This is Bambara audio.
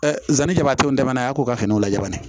zon jabaton daba n'a ya k'o ka finiw lajɛ